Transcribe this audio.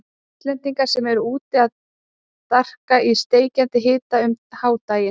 Íslendinga sem eru úti að darka í steikjandi hita um hádaginn.